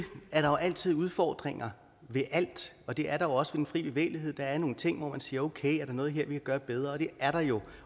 er der jo altid udfordringer ved alt og det er der også ved den fri bevægelighed der er nogle ting hvor man kan sige okay er der noget her vi kan gøre bedre det er der jo